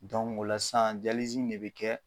o la san de be kɛ